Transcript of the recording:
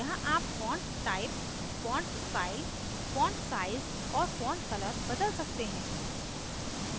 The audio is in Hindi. यहाँ आप font type font style font size और font color बदल सकते हैं